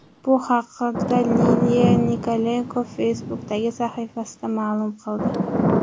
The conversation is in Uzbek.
Bu haqda Liliya Nikolenko Facebook’dagi sahifasida ma’lum qildi .